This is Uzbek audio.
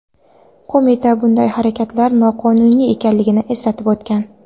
Qo‘mita bunday harakatlar noqonuniy ekanligini eslatib o‘tgan.